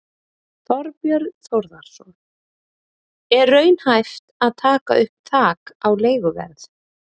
Þorbjörn Þórðarson: Er raunhæft að taka upp þak á leiguverð?